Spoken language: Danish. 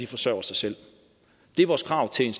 forsørger sig selv det er vores krav til en